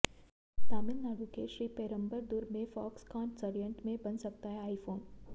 तमिलनाडु के श्रीपेरुम्बदूर में फॉक्सकॉन संयंत्र में बन सकता है आईफोन